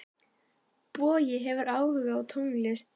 Bogi hefur áhuga á tónlist.